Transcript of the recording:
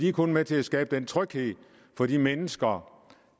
er kun med til at skabe den tryghed for de mennesker